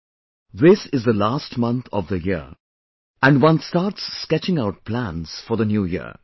" This is the last month of the year and one starts sketching out plans for the New Year